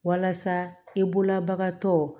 Walasa i bolola bagantɔ